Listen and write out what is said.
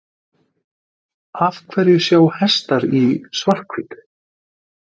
Af hverju sjá hestar í svart-hvítu?